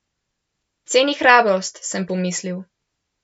Ceni hrabrost, sem pomislil.